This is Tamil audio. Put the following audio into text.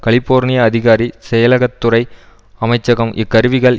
கலிஃபோர்னிய அதிகாரி செயலகத்துறை அமைச்சகம் இக்கருவிகள்